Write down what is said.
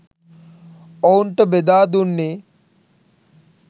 ඔවුන්ට බෙදා දුන්නේ